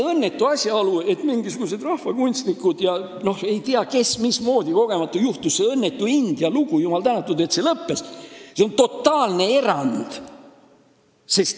Mingisugused rahvakunstnikud ja ei tea kes ning see õnnetu India lugu – jumal tänatud, et see lõppes – on totaalsed erandid.